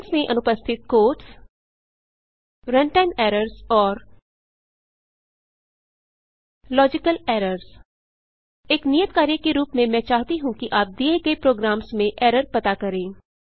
strings में अनुपस्थित quotes runtime errors और 001030 001002 लॉजिकल एरर्स एक नियत कार्य के रूप में मैं चाहती हूँ कि आप दिए गए प्रोग्राम्स में एरर पता करें